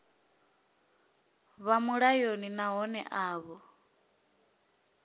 vha mulayoni nahone a vho